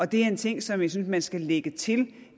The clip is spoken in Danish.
det er en ting som jeg synes man skal lægge til